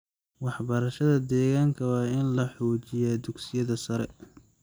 Waxbarashada deegaanka waa in lagu xoojiyo dugsiyada sare.